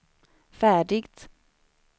färdigt